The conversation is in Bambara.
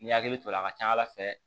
N'i hakili to la a ka ca ala fɛ